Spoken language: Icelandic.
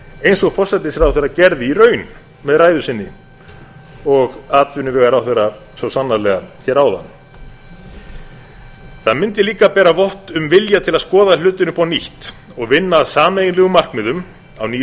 eins og forsætisráðherra gerði í raun með ræðu sinni og atvinnuvegaráðherra svo sannarlega hér áðan það mundi líka bera vott um vilja til að skoða hlutina upp á nýtt og vinna að sameiginlegum markmiðum á nýju